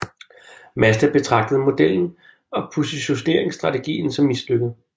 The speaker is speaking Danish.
Mazda betragtede modellen og positioneringsstrategien som mislykket